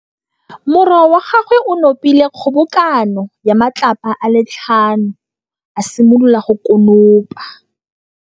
Morwa wa gagwe o nopile kgobokanô ya matlapa a le tlhano, a simolola go konopa.